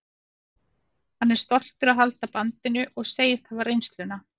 Hann er stoltur að halda bandinu og segist hafa reynsluna.